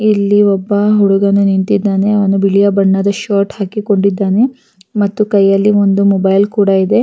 ಇಲ್ಲಿ ಒಬ್ಬ ಹುಡುಗ ನಿಂತಿದ್ದಾನೆ ಮತ್ತೆ ಬಿಳಿಯ ಬಣ್ಣದ ಶರ್ಟ್ ಕೂಡ ಹಾಕಿದಾನೆ ಕೈಯಲ್ಲಿ ಒಂದು ಬ್ಯಾಗ್ ಕೂಡ ಇದೆ.